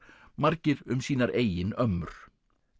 margir um sínar eigin ömmur